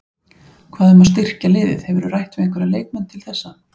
Hvað um að styrkja liðið, hefurðu rætt við einhverja leikmenn til þessa?